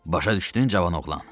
Başa düşdün, cavan oğlan.